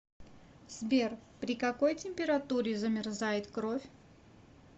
сбер при какой температуре замерзает кровь